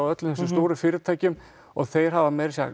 öllum þessum stóru fyrirtækjum og þeir hafa meira að segja